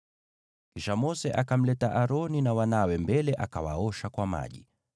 Kisha Mose akamleta Aroni na wanawe mbele, akawaosha kwa maji.